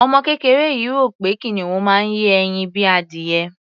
Ọmọ kéreké yìí rò wí pé kìnìún máa ń yé ẹyin bíi adìyẹ.